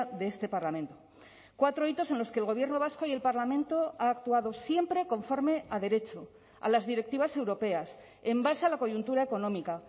de este parlamento cuatro hitos en los que el gobierno vasco y el parlamento ha actuado siempre conforme a derecho a las directivas europeas en base a la coyuntura económica